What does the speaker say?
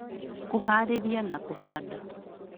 Kũhaarĩria na kũhanda